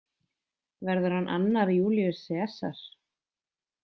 Verður hann annar Júlíus Sesar?